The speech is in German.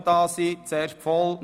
Anwesend sind 148 Mitglieder.